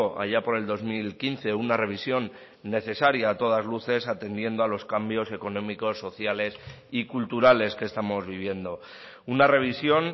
allá por el dos mil quince una revisión necesaria a todas luces atendiendo a los cambios económicos sociales y culturales que estamos viviendo una revisión